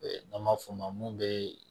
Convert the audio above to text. N'an m'a f'o ma mun be